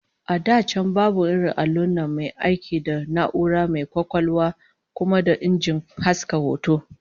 A da can babu irin allon nan mai aiki da na'ura mai kwakwalwa kuma da injin haska hoto